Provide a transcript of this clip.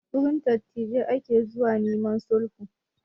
Wurin dattijai ake zuwa neman sulhu